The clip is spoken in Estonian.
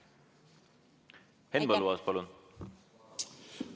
Henn Põlluaas, palun!